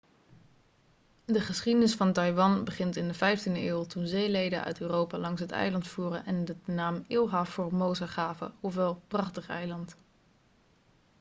de geschiedenis van taiwan begint in de 15e eeuw toen zeelieden uit europa langs het eiland voeren en het de naam ilha formosa gaven ofwel prachtig eiland